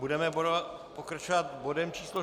Budeme pokračovat bodem číslo